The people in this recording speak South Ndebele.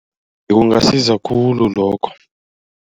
Kungasiza khulu lokho.